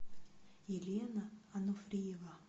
елена ануфриева